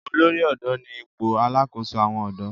olórí odò ní ipò alàkóso àwọn odò.